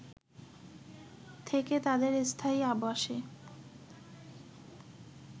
থেকে তাদের স্থায়ী আবাসে